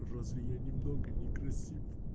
разве я немного некрасив